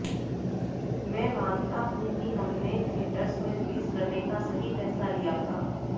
मैं मानता हूं कि हमने थियेटर्स में रिलीज करने का सही फैसला लिया था